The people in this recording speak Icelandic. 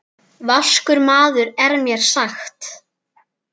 Vaskur maður er mér sagt.